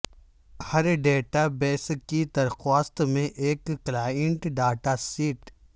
ہر database کی درخواست میں ایک کلائنٹ ڈاٹا سیٹ